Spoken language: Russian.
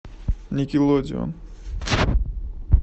никелодеон